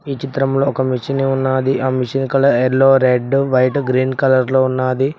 ఈ చిత్రంలో ఒక మెషిని ఉన్నాది ఆ machine colour yellow red white green లో ఉన్నాది.